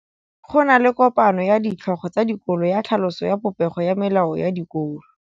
Go na le kopanô ya ditlhogo tsa dikolo ya tlhaloso ya popêgô ya melao ya dikolo.